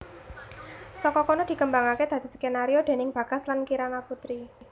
Saka kono dikembangake dadi skenario déning Bagas lan Kirana Putri